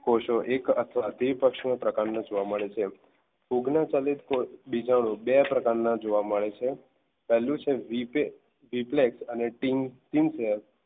કોષો અથવા તે એક પ્રકારના જોવા મળે છે ફૂગના ચલિત બીજાણુ બે પ્રકારના જોવા મળે છે પહેલું છે રીપે રિપ્લેક્સ અને ટીમ પ્લેયર